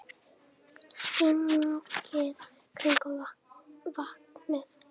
Gengið kringum vatnið.